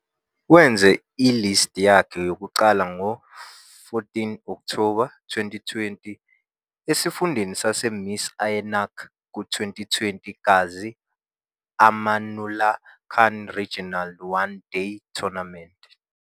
Wenze i- List yakhe yokuqala ngo-14 Okthoba 2020, esifundeni saseMis Ainak ku- 2020 Ghazi Amanullah Khan Regional One Day Tournament.